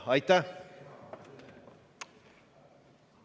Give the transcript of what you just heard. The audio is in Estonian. Aitäh!